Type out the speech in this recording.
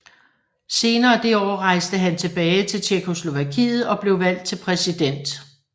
Senere det år rejste han tilbage til Tjekkoslovakiet og blev valgt til præsident